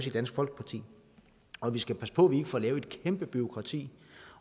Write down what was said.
i dansk folkeparti og vi skal passe på at vi ikke får lavet et kæmpe bureaukrati